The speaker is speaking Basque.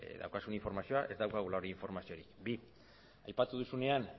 daukazun informazioa ez daukagula informazio hori bi aipatu duzunean